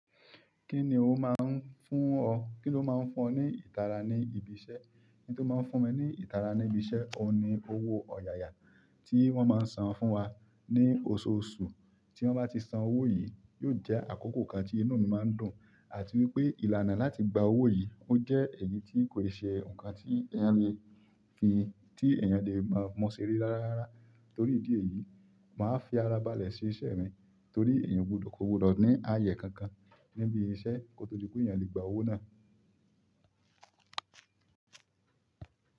Kíni ó máa ń fún ọ, kí ni ó máa ń fún ọ ní ìtara ní ibi iṣẹ́? Nǹkan tó máa ń fún mi ní ìtara ní ibi iṣẹ́ ọun ni owó ọ̀yàyà tí wọ́n máa ń san fún wa ní oṣooṣù. Tí wọ́n bá ti san owó yìí, yóò jẹ́ àkókò kan tí inú mi máa ń dùn, àti wípé ìlànà láti gba owó yìí ó jẹ́ èyí tí kò ṣe nǹkan tí èèyàn lè fi, tí èèyàn lè máa mu ṣe rí rára rárá. Nítorí ìdí èyí, màá fi ara balẹ̀ se iṣẹ́ mi torí èèyàn o gbọdọ̀ ní àyè kankan níbi iṣẹ́ kó to di pé kí èèyàn lè gba owó náà.